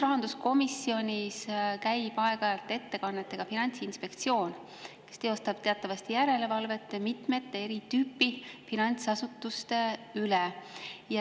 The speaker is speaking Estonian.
Rahanduskomisjonis käib aeg-ajalt ettekannetega Finantsinspektsioon, kes teostab teatavasti järelevalvet mitme eri tüüpi finantsasutuse üle.